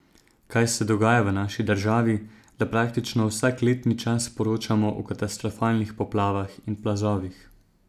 Kaj se dogaja v naši državi, da praktično vsak letni čas poročamo o katastrofalnih poplavah in plazovih?